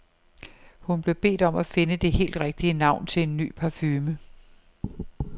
Hun blev bedt om at finde det helt rigtige navn til en ny parfume.